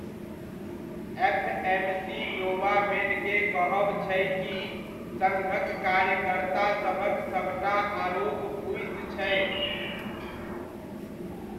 FMC Novamed के कहब छै कि सङ्घक कार्यकर्तासभक सभटा आरोप फुसि छै।